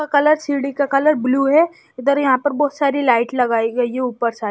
colour सीढ़ी का colour blue है इधर यहां पर बहुत सारी लाइट लगाई है ये ऊपर साइड --